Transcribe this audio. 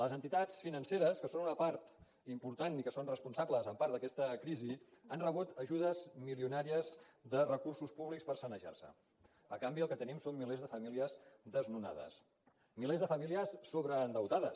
les entitats financeres que són una part important i que són responsables en part d’aquesta crisi han rebut ajudes milionàries de recursos públics per sanejar se a canvi el que tenim són milers de famílies desnonades milers de famílies sobreendeutades